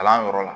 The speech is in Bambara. Kalan yɔrɔ la